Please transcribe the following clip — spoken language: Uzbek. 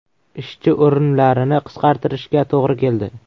Ishchi o‘rinlarini qisqartirishga to‘g‘ri keldi.